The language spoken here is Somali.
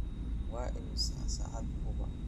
Waa imisa saac Cuba?